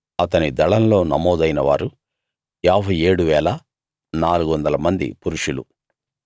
అతని దళంలో నమోదైన వారు 57 400 మంది పురుషులు